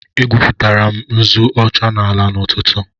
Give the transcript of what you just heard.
Egwupụtara m nzu ọcha n'ala n'ụtụtụ